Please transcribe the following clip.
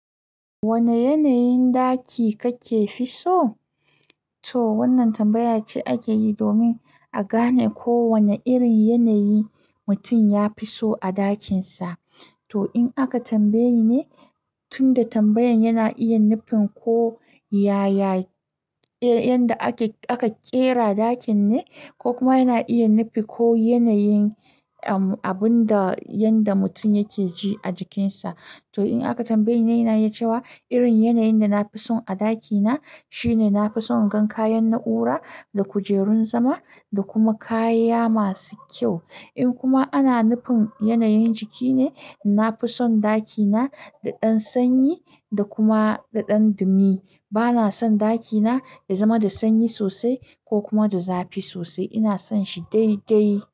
Wane yanayin ɗaki kake fi so? To wannan tambaya ce ake yi domin a gane ko wane irin yanayi mutum ya fi so a ɗakinsa. To in aka tambaye ne, tunda tambayan yana iya nufin ko yaya, eh, yanda ake, aka ƙera ɗakin ne ko kuma yana iya nufi ko yanayin, um, abun da, yanda mutum yake ji a jikinsa. To in aka tambaye ni ne, ina iya cewa irin yanayin da na fi son a ɗakina shine na fi son in gan kayan na'ura da kujerun zama da kuma kaya masu kyau. In kuma ana nufin yanayin jiki ne, na fi son ɗakina da ɗan sanyi da kuma da ɗan dumi. Bana son ɗakina ya zama da sanyi sosai ko kuma da zafi sosai. Ina son shi dai dai.